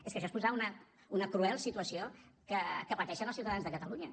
és que això és posar una cruel situació que pateixen els ciutadans de catalunya